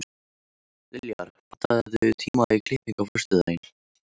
Liljar, pantaðu tíma í klippingu á föstudaginn.